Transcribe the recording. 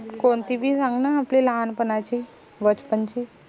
कोनती बी सांग न आपली लहानपनाची बचपन ची